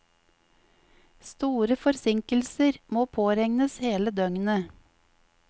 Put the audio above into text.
Store forsinkelser må påregnes hele døgnet.